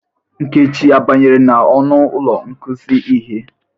Nkechi a banyere n'ọnụ ụlọ ikuzi ihe?